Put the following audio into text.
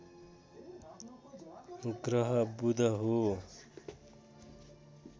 ग्रह बुध हो